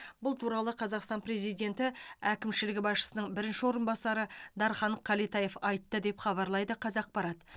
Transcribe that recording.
бұл туралы қазақстан президенті әкімшілігі басшысының бірінші орынбасары дархан кәлетаев айтты деп хабарлайды қазақпарат